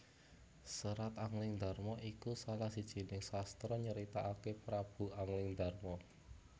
Serat Anglingdarma iku salah sijining sastra kang nyritakaké Prabu Anglingdarma